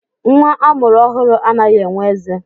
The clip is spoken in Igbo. Nwa a mụrụ ọhụrụ anaghị enwe eze.